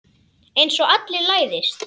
Einsog allir læðist.